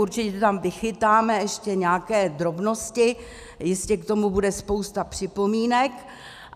Určitě tam vychytáme ještě nějaké drobnosti, jistě k tomu bude spousta připomínek.